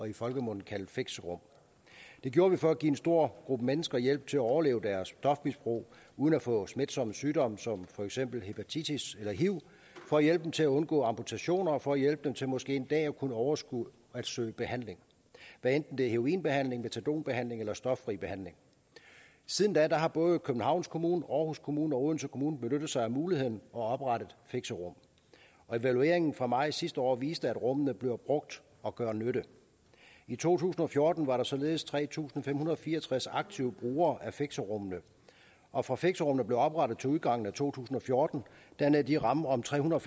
i folkemunde kaldet fixerum det gjorde vi for at give en stor gruppe mennesker hjælp til at overleve deres stofmisbrug uden at få smitsomme sygdomme som for eksempel hepatitis eller hiv og hjælp til at undgå amputation og for at hjælpe dem til måske en dag at kunne overskue at søge behandling hvad enten det er heroinbehandling metadonbehandling eller stoffri behandling siden da har både københavns kommune aarhus kommune og odense kommune benyttet sig af muligheden og oprettet fixerum evalueringen fra maj sidste år viste at rummene bliver brugt og gør nytte i to tusind og fjorten var der således tre tusind fem hundrede og fire og tres aktive brugere af fixerummene og fra fixerummene blev oprettet til udgangen af to tusind og fjorten dannede de rammen om trehundrede